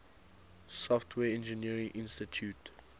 software engineering institute